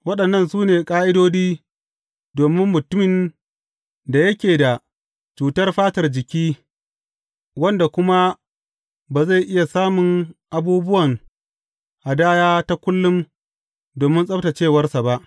Waɗannan su ne ƙa’idodi domin mutumin da yake da cutar fatar jiki wanda kuma ba zai iya samun abubuwan hadaya ta kullum domin tsabtaccewarsa ba.